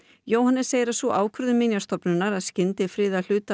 Jóhannes segir að sú ákvörðun Minjastofnunar að skyndifriða hluta